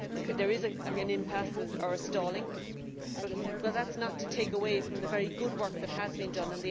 There is an impasse or a stalling, but that is not to take away from the very good work that has been done.